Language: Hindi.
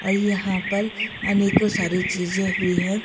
और यहां पर अनेकों सारी चीजें भी हैं।